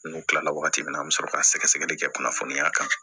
N'u kilala wagati min na an mi sɔrɔ ka sɛgɛsɛgɛli kɛ kunnafoniya kan